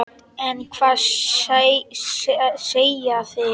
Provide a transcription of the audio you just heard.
En hvað segja þeir?